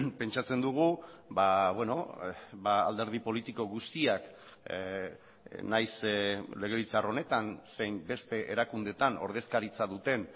pentsatzen dugu alderdi politiko guztiak nahiz legebiltzar honetan zein beste erakundetan ordezkaritza duten